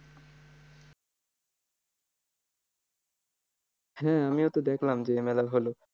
হ্যাঁ আমিও তো দেখলাম যে এই মেলা হলো।